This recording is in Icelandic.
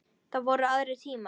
Þá voru aðrir tímar.